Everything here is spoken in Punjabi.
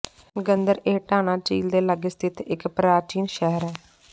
ਗੰਦਰ ਇਹ ਟਾਨਾ ਝੀਲ ਦੇ ਲਾਗੇ ਸਥਿਤ ਇਕ ਪ੍ਰਾਚੀਨ ਸ਼ਹਿਰ ਹੈ